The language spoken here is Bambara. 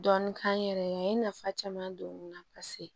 Dɔɔnin k'an yɛrɛ ye a ye nafa caman don n na paseke